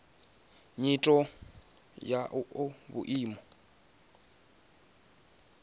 nyito ine ya oa vhuimo